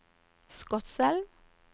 Skotselv